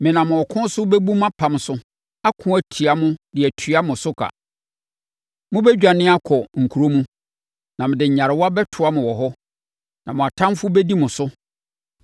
Menam ɔko so bɛbu mʼapam so ako atia mo de atua mo so ka. Mobɛdwane akɔ mo nkuro mu, na mede nyarewa bɛtoa mo wɔ hɔ. Na mo atamfoɔ bɛdi mo so.